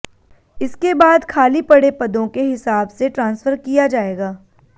इसके बाद खाली पड़े पदों के हिसाब से ट्रांसफर किया जाएगा